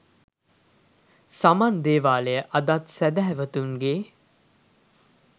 සමන් දේවාලය අදත් සැහැදැවතුන්ගේ